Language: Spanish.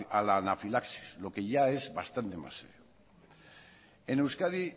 a la anafilaxis lo que ya es bastante más serio en euskadi